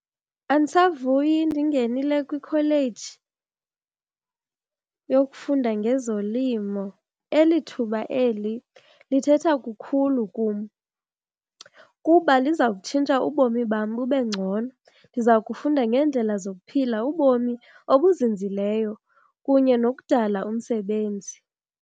Andisavuyi ndingenile kwikholeji yokufunda ngezolimo. Eli thuba eli lithetha kukhulu kum kuba lizawutshintsha ubomi bam bube ngcono. Ndiza kufunda ngeendlela zokuphila ubomi obuzinzileyo kunye nokudala umsebenzi.